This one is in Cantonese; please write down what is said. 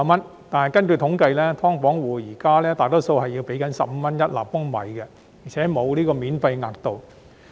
然而，根據統計，"劏房戶"現時大多數要繳付15元一立方米，而且沒有免費額度。